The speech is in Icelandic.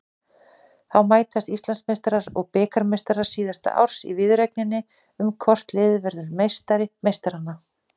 Þá mætast Íslandsmeistarar og bikarmeistarar síðasta árs í viðureigninni um hvort liðið verður meistari meistaranna.